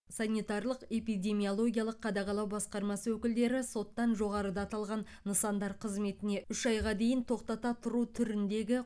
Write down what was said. санитарлық эпидемиологиялық қадағалау басқармасы өкілдері соттан жоғарыда аталған нысандар қызметіне үш айға дейін тоқтата тұру түріндегі